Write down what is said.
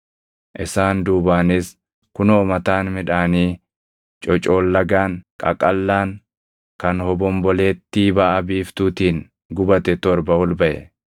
Isaan duubaanis kunoo mataan midhaanii cocoollagaan, qaqallaan kan hobombolettii baʼa biiftuutiin gubate torba ol baʼe.